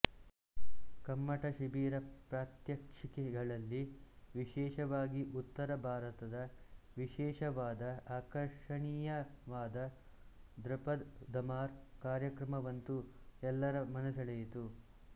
ಕಮ್ಮಟ ಶಿಬಿರ ಪ್ರಾತ್ಯಕ್ಷಿಕೆಗಳಲ್ಲಿ ವಿಶೇಷವಾಗಿ ಉತ್ತರ ಭಾರತದ ವಿಶೇಷವಾದ ಆಕರ್ಷಣಿಯವಾದ ದೃಪದ್ ಧಮಾರ್ ಕಾರ್ಯಕ್ರಮವಂತೂ ಎಲ್ಲರ ಮನಸೆಳೆಯಿತು